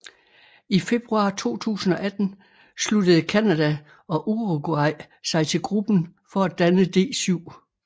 I februar 2018 sluttede Canada og Uruguay sig til gruppen for at danne D7